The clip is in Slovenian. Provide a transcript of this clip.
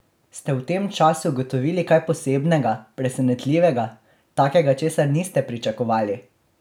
Ste v tem času ugotovili kaj posebnega, presenetljivega, takega, česar niste pričakovali?